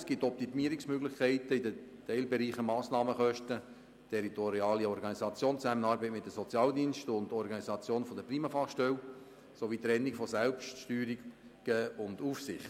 Es gibt aber Optimierungsmöglichkeiten in den Teilbereichen Massnahmenkosten, territoriale Organisation, Zusammenarbeit mit den Sozialdiensten und Organisation der PriMa-Fachstelle sowie bei der Trennung von Selbststeuerung und Aufsicht.